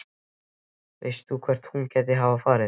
Veist þú hvert hún gæti hafa farið?